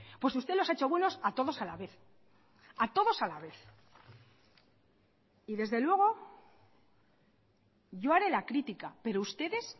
pues usted los ha hecho buenos a todos a la vez a todos a la vez y desde luego yo haré la crítica pero ustedes